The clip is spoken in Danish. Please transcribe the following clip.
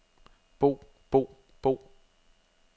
bo bo bo